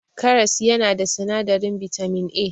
Karas yana da sinadarin bitamin A.